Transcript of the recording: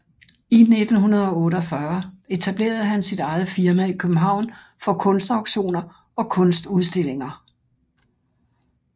I 1948 etablerede han sit eget firma i København for kunstauktioner og kunstudstillinger